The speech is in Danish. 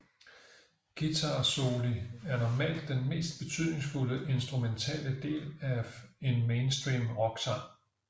Guitarsoli er normalt den mest betydningsfulde instrumentale del af en mainstream rocksang